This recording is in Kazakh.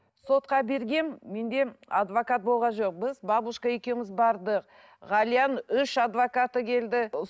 сотқа бергенмін менде адвокат болған жоқ біз бабушка екеуіміз бардық ғалияның үш адвокаты келді